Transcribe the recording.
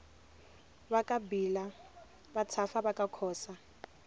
vakabhila vatshafa vakakhosa